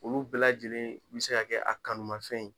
Olu bɛɛ lajɛlen mi se ka kɛ a kanumafɛn ye.